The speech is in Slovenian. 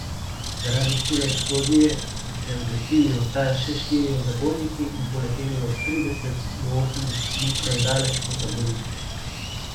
Zaradi sile eksplozije so se odlepili od tal še štirje zabojniki in poleteli od trideset do osemdeset metrov daleč po taborišču.